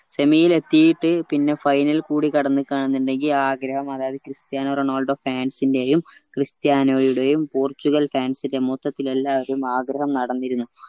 semi ലെത്തിയിട്ട് പിന്നെ final കൂടി കടന്നിക്ക എന്നിണ്ടെങ്കിൽ ആ ആഗ്രഹം അതായത് ക്രിസ്ത്യാനോ റൊണാൾഡോ fans ന്റെയും ക്രിസ്ത്യാനോ റൊണാൾഡോന്റെയും പോർച്ചുഗൽ fans ന്റെ മൊത്തത്തിൽ എല്ലാരും ആഗ്രഹം നടന്നിരുന്നു